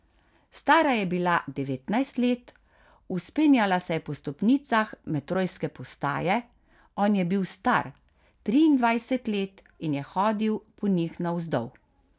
Stara je bila devetnajst let, vzpenjala se je po stopnicah metrojske postaje, on je bil star triindvajset let in je hodil po njih navzdol.